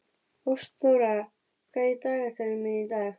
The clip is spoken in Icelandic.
Ástþóra, hvað er í dagatalinu mínu í dag?